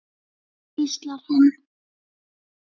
hvíslar hann.